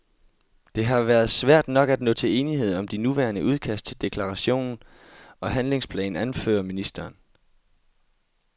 Det har været svært nok at nå til enighed om de nuværende udkast til deklaration og handlingsplan, anfører ministeren.